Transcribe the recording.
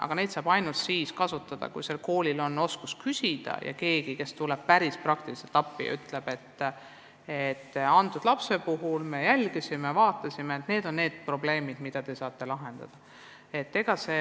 Aga see on võimalik ainult siis, kui koolil on oskus küsida ja on keegi, kes tuleb praktiliselt appi ja ütleb, et me jälgisime seda last, tegime kindlaks need ja need probleemid, mida saab kohapeal lahendada sel viisil.